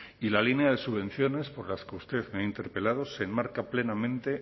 y la línea de subvenciones por las que usted me ha interpelado se enmarca plenamente